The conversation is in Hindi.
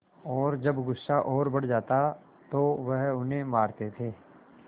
और जब गुस्सा और बढ़ जाता तो वह उन्हें मारते थे